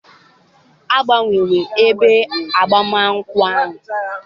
Agbanwewo ebe agbamakwụkwọ ahụ.